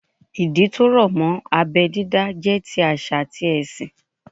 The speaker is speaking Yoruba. Ìdí tó rọ̀ mọ́ abẹ́ dídá jẹ́ ti àṣà àti ẹ̀sìn